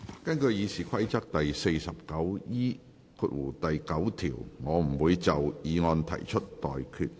根據《議事規則》第 49E9 條，我不會就議案提出待決議題。